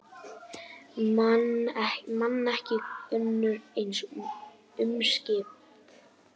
Man ekki önnur eins umskipti